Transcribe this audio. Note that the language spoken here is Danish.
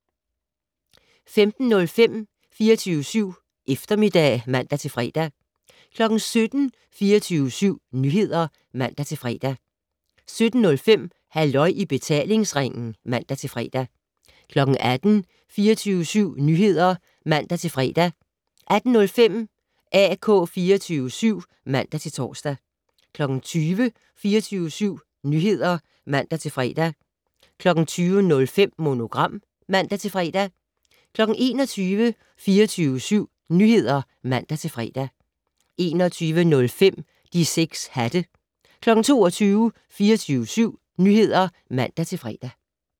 15:05: 24syv Eftermiddag (man-fre) 17:00: 24syv Nyheder (man-fre) 17:05: Halløj i betalingsringen (man-fre) 18:00: 24syv Nyheder (man-fre) 18:05: AK 24syv (man-tor) 20:00: 24syv Nyheder (man-fre) 20:05: Monogram (man-fre) 21:00: 24syv Nyheder (man-fre) 21:05: De 6 hatte 22:00: 24syv Nyheder (man-fre)